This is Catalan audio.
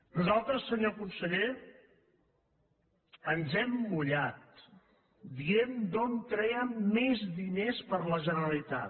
nosaltres senyor conseller ens hem mullat dient d’on trèiem més diners per a la generalitat